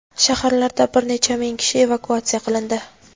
Shaharlardan bir necha ming kishi evakuatsiya qilindi.